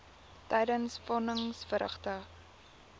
tydens von nisverrigtinge